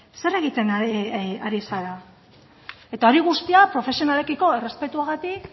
zer egiten ari zara eta hori guztia profesionalekiko errespetuagatik